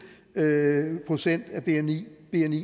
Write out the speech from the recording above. procent af bni